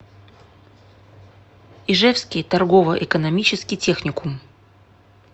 ижевский торгово экономический техникум